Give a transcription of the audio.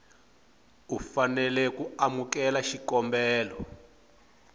u fanela ku amukela xikombelo